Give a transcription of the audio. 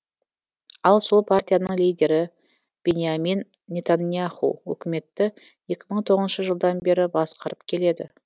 ал сол партияның лидері биньямин нетаньяху үкіметті екі мың тоғызыншы жылдан бері басқарып келеді